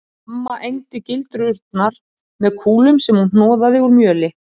Amma egndi gildrurnar með kúlum sem hún hnoðaði úr mjöli